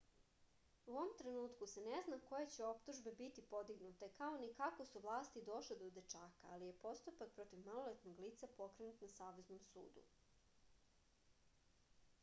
u ovom trenutku se ne zna koje će optužbe biti podignute kao ni kako su vlasti došle do dečaka ali je postupak protiv maloletnog lica pokrenut na saveznom sudu